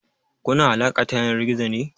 Kuna alaƙa ta yanar gizo ne?